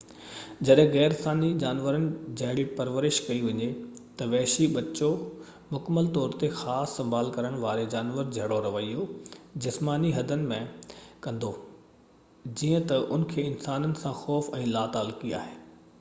جڏهن غير انساني جانورن جهڙي پرورش ڪئي وڃي، تہ وحشي ٻچو مڪمل طور تي خاص سنڀال ڪرڻ واري جانور جهڙو رويو جسماني حدن ۾ ڪندو، جيئن تہ ان کي انسانن سان خوف ۽ لاتعلقي آهي